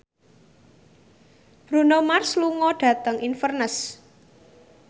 Bruno Mars lunga dhateng Inverness